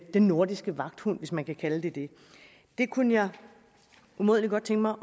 den nordiske vagthund hvis man kan kalde det det det kunne jeg umådelig godt tænke mig